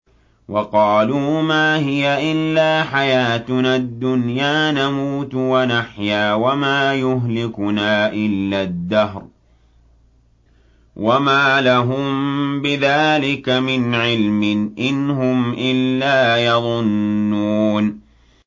وَقَالُوا مَا هِيَ إِلَّا حَيَاتُنَا الدُّنْيَا نَمُوتُ وَنَحْيَا وَمَا يُهْلِكُنَا إِلَّا الدَّهْرُ ۚ وَمَا لَهُم بِذَٰلِكَ مِنْ عِلْمٍ ۖ إِنْ هُمْ إِلَّا يَظُنُّونَ